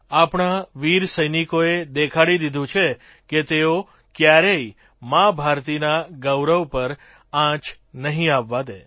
આપણા વીર સૈનિકોએ દેખાડી દીધું છે કે તેઓ ક્યારેય મા ભારતીના ગૌરવ પર આંચ નહીં આવવા દે